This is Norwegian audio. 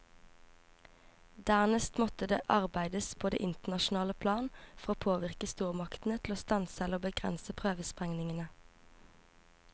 Dernest måtte det arbeides på det internasjonale plan for å påvirke stormaktene til å stanse eller begrense prøvesprengningene.